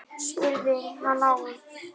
spurði hann Álf.